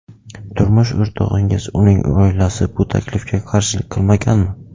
Turmush o‘rtog‘ingiz, uning oilasi bu taklifga qarshilik qilmaganmi?